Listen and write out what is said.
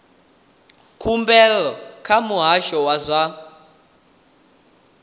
khumbelo kha muhasho wa zwa